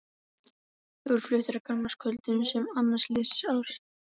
Þeir voru fluttir á gamlaárskvöldum sem annálar liðins árs.